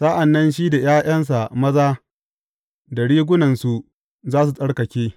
Sa’an nan shi da ’ya’yansa maza da rigunansu za su tsarkake.